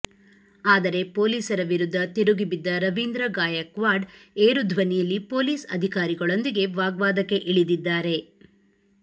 ಆದರೆ ಪೊಲೀಸರ ವಿರುದ್ದ ತಿರುಗಿ ಬಿದ್ದ ರವೀಂದ್ರ ಗಾಯಕ್ವಾಡ್ ಏರು ಧ್ವನಿಯಲ್ಲಿ ಪೊಲೀಸ್ ಅಧಿಕಾರಿಗಳೊಂದಿಗೆ ವಾಗ್ವಾದಕ್ಕೆ ಇಳಿದಿದ್ದಾರೆ